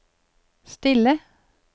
stille